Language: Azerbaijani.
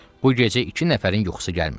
Bu gecə iki nəfərin yuxusu gəlmirdi.